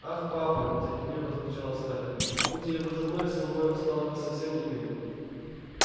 ах папа нетерпеливо вскричала скарлетт будь я его женой со мной он стал бы совсем иным